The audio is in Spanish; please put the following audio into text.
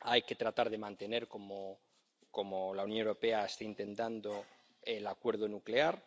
Hay que tratar de mantener —como la Unión Europea está intentando— el acuerdo nuclear,